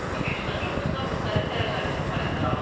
200-dən çox insan müxtəlif dərəcəli xəsarətlər alıb.